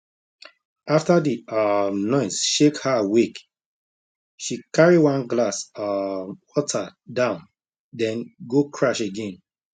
after the um noise shake her wake she carry one glass um water down then go crash again